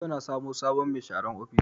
Yau na samo sabon mai sharan ofishi